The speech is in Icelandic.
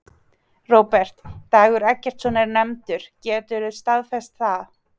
Róbert: Dagur Eggertsson er nefndur, geturðu staðfest það?